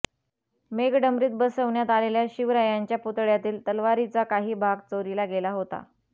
मेघडंबरीत बसवण्यात आलेल्या शिवरायांच्या पुतळ्यावरील तलवारीचा काही भाग चोरीला गेला होता